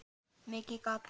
Mikið gat